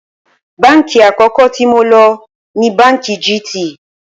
Báǹkì àkó̩kó̩ tí mo lò ni Báǹkì GT